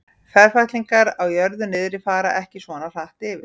Ferfætlingar á jörðu niðri fara ekki svona hratt yfir.